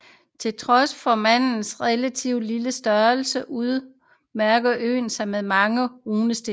Til trods for Mans relative lille størrelse udmærker øen sig med mange runestene